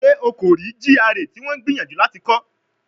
Ṣe o ko rii GRA ti wọn n gbiyanju lati kọ?